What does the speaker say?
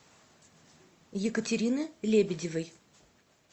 екатерины лебедевой